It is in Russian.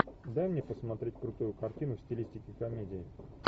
дай мне посмотреть крутую картину в стилистике комедии